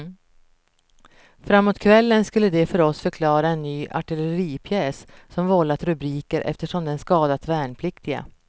Framåt kvällen skulle de för oss förklara en ny artilleripjäs som vållat rubriker eftersom den skadat värnpliktiga.